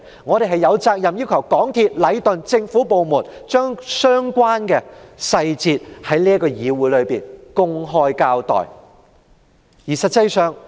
我們有責任要求港鐵公司、禮頓建築有限公司及政府部門，在議會內公開交代相關的細節。